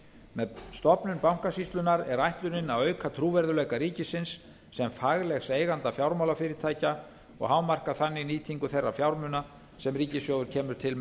með stofnun bankasýslunnar er ætlunin að auka trúverðugleika ríkisins sem faglegs eiganda fjármálafyrirtækja og hámarka þannig nýtingu þeirra fjármuna sem ríkissjóður kemur til